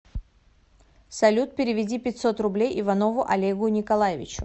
салют переведи пятьсот рублей иванову олегу николаевичу